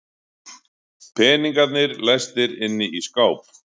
Peningarnir læstir inni í skáp.